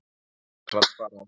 Ekkert var sparað.